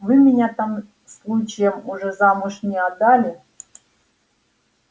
вы меня там случаем уже замуж не отдали